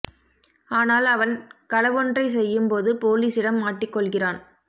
ஆனால் அவன் களவொன்றை செய்யும் போது போலீசிடம் மாட்டிக் கொள்கிறான்